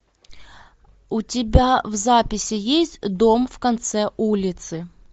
у тебя в записи есть дом в конце улицы